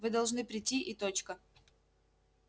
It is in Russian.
вы должны прийти и точка